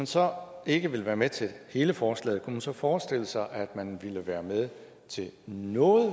så ikke vil være med til hele forslaget man så forestille sig at man ville være med til noget